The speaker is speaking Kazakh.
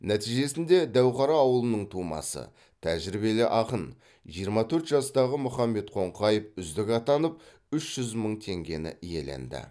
нәтижесінде дәуқара ауылының тумасы тәжірибелі ақын жиырма төрт жастағы мұхаммед қоңқаев үздік атанып үш жүз мың теңгені иеленді